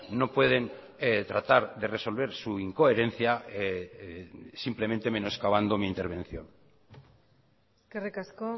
no pueden tratar de resolver su incoherencia simplemente menoscabando mi intervención eskerrik asko